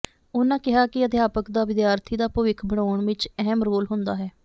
ਉਨ੍ਹਾਂ ਕਿਹਾ ਕਿ ਅਧਿਆਪਕ ਦਾ ਵਿਦਿਆਰਥੀ ਦਾ ਭਵਿੱਖ ਬਣਾਉਣ ਵਿੱਚ ਅਹਿਮ ਰੋਲ ਹੁੰਦਾ ਹੈ